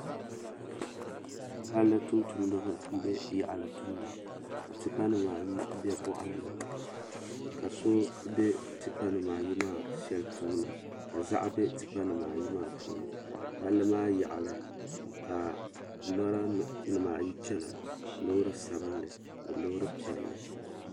Palli tumtumdiba m be yaɣali tumda ka tipa nima ayi be boɣali ni ka so be tipa nima ayi maa sheli puuni ka ziɣa be tipa nima ayi maa puuni palli maa yaɣali ka lora nima ayi chena loori sabinli ni loori piɛli.